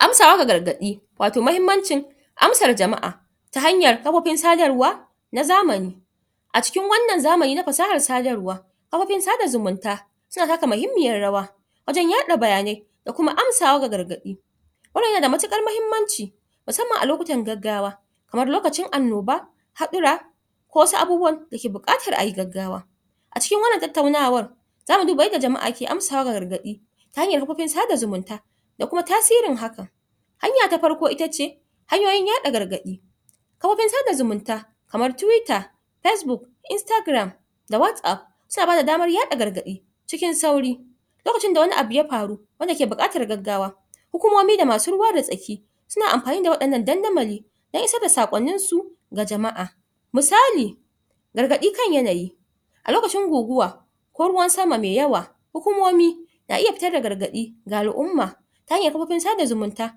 amsawa ga gargaɗi wato mahimmancin amsar jama'a ta hanyar kafofin sadarwa na zamani a cikin wannan zamani na fasahar sadarwa kafofin sada zumunta suna taka muhimmiyar rawa wajen yaɗa bayanai da kuma amsawa ga gargaɗi wannan yanada matuƙar muhimmanci musamman a lokutan gaggawa kamar lokacin annoba haɗura ko wasu abubuwan da ke buƙatar ayi gaggawa a cikin wannan tattaunawar zamu duba yadda jama'a ke amsawa ga gargaɗi ta hanyar kafofin sada zumunta da kuma tasirin hakan hanya ta farko itace hanyoyin yaɗa gargaɗi kafofin sada zumunta kamar twitter facebook instagram da whatsapp suna bada damar yaɗa gargaɗi cikin sauri lokacin da wani abu ya faru wanda ke buƙatar gaggawa hukumomi da masu ruwa da tsaki suna amfani da waɗannan dandamali dan isar da saƙonnin su ga jama'a misali gargaɗi kan yanayi a lokacin guguwa ko ruwan sama me yawa hukumomi na iya fitar da gargaɗi ga al'umma ta hanyar kafofin sada zumunta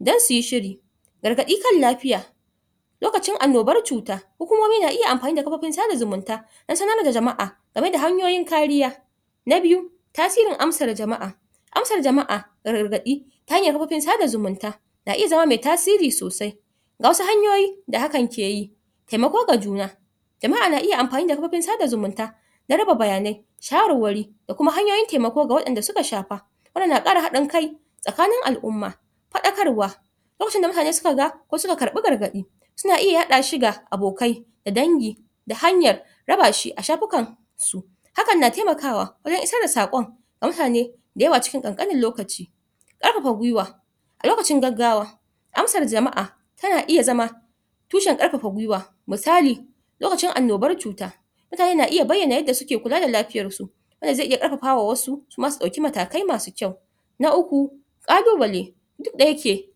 dan suyi shiri gargaɗi kan lafiya lokacin annobar cuta hukumomi na iya amfani da kafofin sada zumunta dan sanar da jama'a game da hanyoyin kariya na biyu tasirin amsar jama'a amsar jama'a ga gargaɗi ta hanyar kafofin sada zumunta na iya zama me tasiri sosai ga wasu hanyoyi da hakan ke yi temako ga juna jama'a na iya amfani da kafofin sada zumunta dan raba bayanai shawarwari da kuma hanyoyin temako ga waɗanda suka shafa wannan na ƙara haɗin kai tsakanin al'umma faɗakarwa lokacin da mutane suka ga kosuka karɓi gargaɗi suna iya yaɗa shi ga abokai da dangi da hanyar raba shi a shafukan su hakan na temakawa wurin isar da saƙon ga mutane da yawa cikin ƙanƙanin lokaci ƙarfafa gwiwa a lokacin gaggawa amsar jama'a tana iya zama tushen ƙarfafa gwiwa misali lokacin annobar cuta mutane na iya bayyana yadda suke kula da lafiyar su yadda ze iya ƙarfafa wa wasu kuma su ɗauki matakai masu kyau na uku ƙalubale duk da yake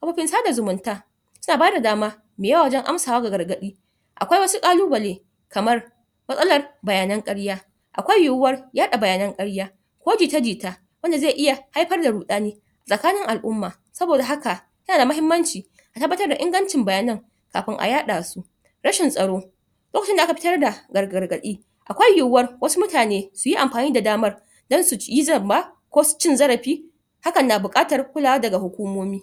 kafofin sada zumunta suna bada dama me yawa wajen amsawa ga gargaɗi akwai wasu ƙalubale kamar matsalar bayanan ƙarya akwai yiwuwa yaɗa bayanan ƙarya ko jita-jita anda ze iya haifar da ruɗani tsakanin al'umma saboda haka yana da mahimmanci a tabbatar da ingancin bayanan kafin a yaɗa su rashin tsaro lokacin da aka fitar da gargaɗi akwai yiwuwa wasu mutane suyi amfani da damar dan suyi zamba ko cin zarafi hakan na buƙatar kulawa daga hukumomi